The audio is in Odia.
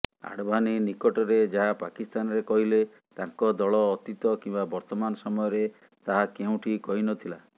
ଆଡଭାନୀ ନିକଟରେ ଯାହା ପାକିସ୍ତାନରେ କହିଲେ ତାଙ୍କ ଦଳ ଅତୀତ କିମ୍ବା ବର୍ତ୍ତମାନ ସମୟରେ ତାହା କେଉଁଠି କହିନଥିଲା